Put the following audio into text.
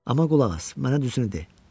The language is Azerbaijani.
Amma qulaq as, mənə düzünü de.